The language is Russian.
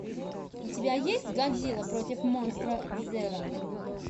у тебя есть годзилла против монстра зеро